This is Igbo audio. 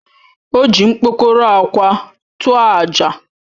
O ji mkpokoró akwa tụọ àjà.